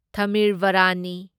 ꯊꯃꯤꯔꯕꯥꯔꯥꯅꯤ